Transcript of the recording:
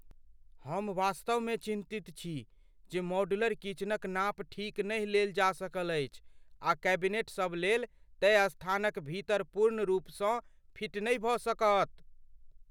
हम वास्तवमे चिन्तित छी जे मॉड्यूलर किचनक नाप ठीक नहि लेल जा सकल अछि आ कैबिनेट सब लेल तय स्थानक भीतर पूर्ण रूपसँ फिट नहि भऽ सकत।